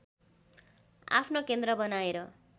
आफ्नो केन्द्र बनाएर